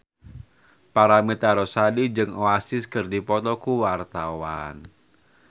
Paramitha Rusady jeung Oasis keur dipoto ku wartawan